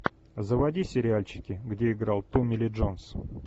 заводи сериальчики где играл томми ли джонс